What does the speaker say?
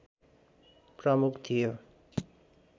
प्रमुख थियो